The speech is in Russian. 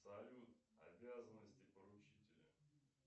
салют обязанности поручителя